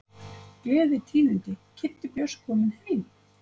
Gleðitíðindi. Kiddi Björns kominn heim!